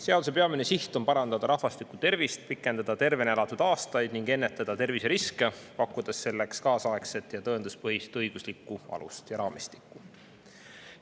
Seaduse peamine siht on parandada rahvastiku tervist, pikendada tervena elatud ning ennetada terviseriske, pakkudes selleks kaasaegset ja tõenduspõhist õiguslikku alust ja raamistikku.